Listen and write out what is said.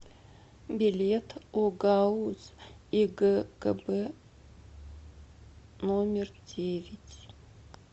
билет огауз игкб номер девять